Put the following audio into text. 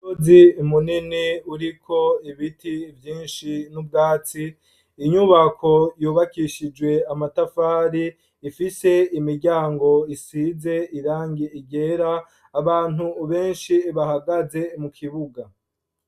Bozi imunene uriko ibiti vyinshi n'ubwatsi inyubako yubakishijwe amatafari ifise imiryango isize irangie igera abantu benshi bahagaze mu kibuga.